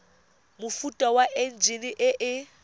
mofuta wa enjine e e